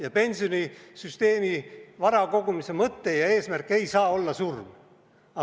Aga pensionisüsteemi vara kogumise mõte ja eesmärk ei saa olla surm.